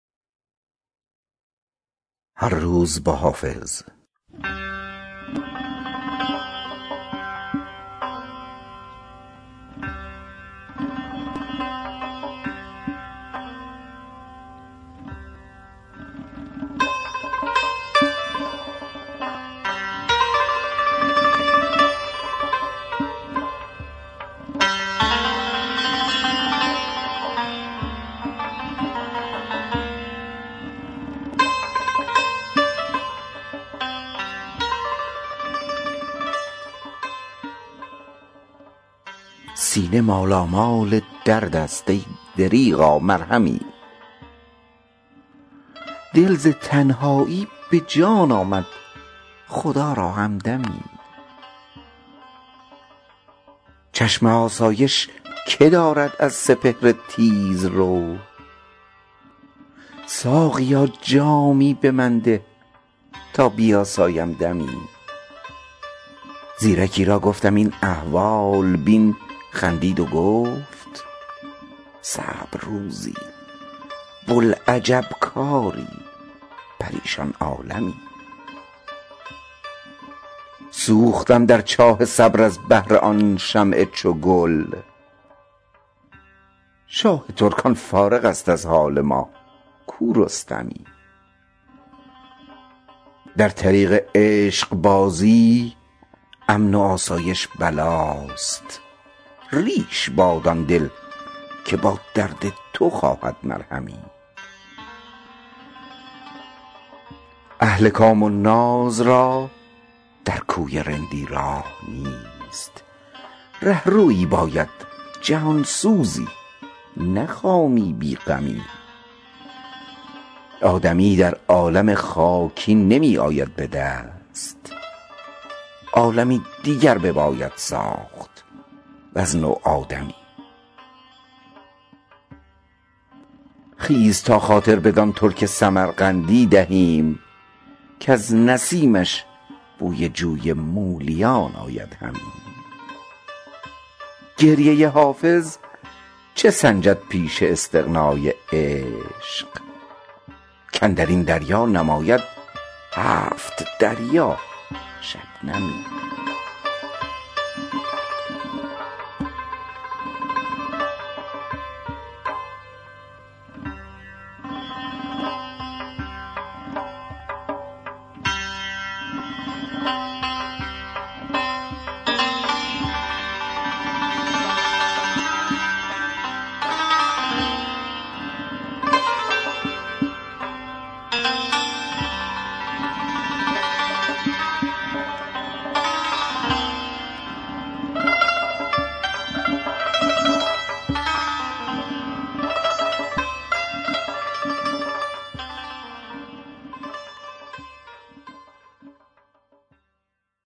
سینه مالامال درد است ای دریغا مرهمی دل ز تنهایی به جان آمد خدا را همدمی چشم آسایش که دارد از سپهر تیزرو ساقیا جامی به من ده تا بیاسایم دمی زیرکی را گفتم این احوال بین خندید و گفت صعب روزی بوالعجب کاری پریشان عالمی سوختم در چاه صبر از بهر آن شمع چگل شاه ترکان فارغ است از حال ما کو رستمی در طریق عشق بازی امن و آسایش بلاست ریش باد آن دل که با درد تو خواهد مرهمی اهل کام و ناز را در کوی رندی راه نیست رهروی باید جهان سوزی نه خامی بی غمی آدمی در عالم خاکی نمی آید به دست عالمی دیگر بباید ساخت وز نو آدمی خیز تا خاطر بدان ترک سمرقندی دهیم کز نسیمش بوی جوی مولیان آید همی گریه حافظ چه سنجد پیش استغنای عشق کاندر این دریا نماید هفت دریا شبنمی